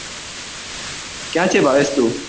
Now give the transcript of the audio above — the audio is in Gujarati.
ક્યાં છે ભાવેશ તું